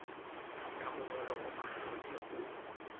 ka mongolo o makgethe o